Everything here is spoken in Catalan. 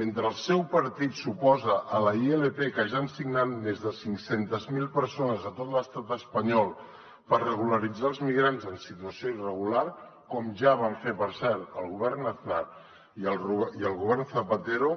mentre el seu partit s’oposa a la ilp que ja han signat més de cinc cents miler persones a tot l’estat espanyol per regularitzar els migrants en situació irregular com ja van fer per cert el govern aznar i el govern zapatero